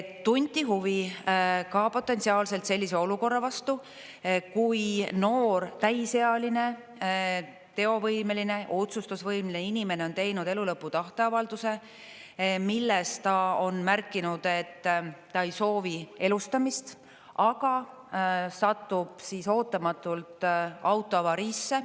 Tunti huvi ka potentsiaalselt sellise olukorra vastu, kui noor, täisealine, teovõimeline, otsustusvõimeline inimene on teinud elulõpu tahteavalduse, milles ta on märkinud, et ta ei soovi elustamist, aga satub ootamatult autoavariisse.